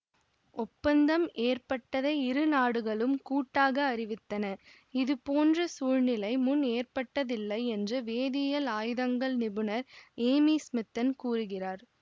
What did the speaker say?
ஒப்பந்தம் ஏற்பட்டதை இரு நாடுகளும் கூட்டாக அறிவித்தன இது போன்ற சூழ்நிலை முன் ஏற்பட்டதில்லை என்று வேதியியல் ஆயுதங்கள் நிபுணர் ஏமி ஸ்மித்தன் கூறுகிறார்